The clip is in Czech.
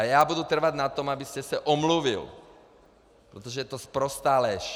A já budu trvat na tom, abyste se omluvil, protože je to sprostá lež.